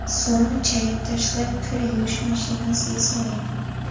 So‘ng chayib tashlab, kir yuvish mashinasiga soling.